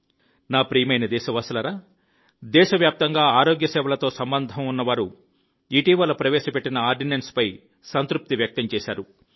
నా ప్రియమైన దేశ వాసులారా దేశవ్యాప్తంగా ఆరోగ్య సేవలతో సంబంధం ఉన్న వారు ఇటీవల ప్రవేశపెట్టిన ఆర్డినెన్స్పై సంతృప్తి వ్యక్తం చేశారు